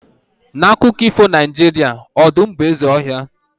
na akụkọ ifo Naijiria, ọdụm bụ eze ọhịa